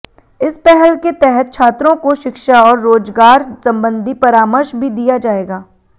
इस पहल के तहत छात्रों को शिक्षा और रोजगार संबंधी परामर्श भी दिया जाएगा